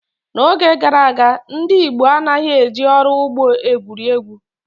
N’oge gara aga, ndị Igbo anaghị eji ọrụ ugbo egwuri egwu.